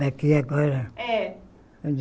Daqui agora? É